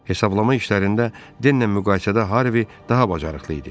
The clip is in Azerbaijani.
Hesablama işlərində Denlə müqayisədə Harvi daha bacarıqlı idi.